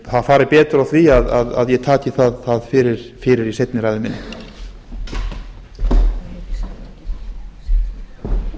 það fari betur á því að ég taki það fyrir í seinni ræðu minni